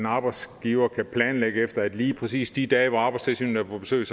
arbejdsgiver kan planlægge efter at lige præcis de dage hvor arbejdstilsynet er på besøg